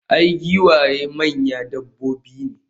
i, giwaye manyan dabbobi ne